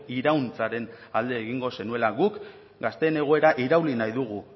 irauntzaren alde egingo zenuela guk gazteen egoera irauli nahi dugu